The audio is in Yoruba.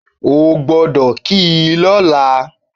O gbọ́dọ̀ kì í lóla